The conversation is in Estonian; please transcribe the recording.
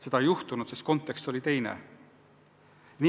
Seda ei juhtunud, sest kontekst oli teine.